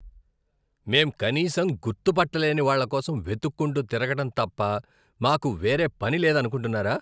మేం కనీసం గుర్తు పట్టలేని వాళ్ళ కోసం వెతక్కుంటూ తిరగటం తప్ప మాకు వేరే పని లేదనుకుంటున్నారా?